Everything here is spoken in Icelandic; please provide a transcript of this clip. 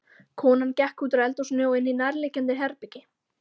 Konan gekk útúr eldhúsinu og inní nærliggjandi herbergi.